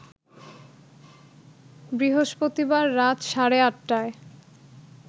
বৃহস্পতিবার রাত সাড়ে ৮টায়